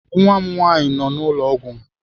Nwa m nwaanyị nọ n'ụlọ ọgwụ.